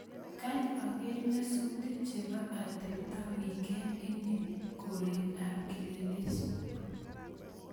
Kany ager nyasutik chebo atebta wikend ini koret ab kileleshwa